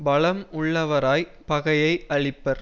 பலம் உள்ளவராய் பகையை அழிப்பர்